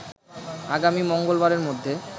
আগামী মঙ্গলবারের মধ্যে